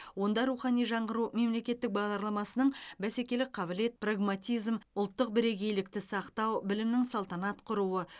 онда рухани жаңғыру мемлекеттік бағдарламасының бәсекелік қабілет прагматизам ұлттық бірегейлікті сақтау білімнің салтанат құруы